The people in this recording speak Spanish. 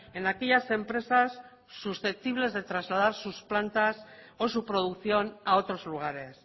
en aquellas empresas susceptibles de trasladar sus plantas o su producción a otros lugares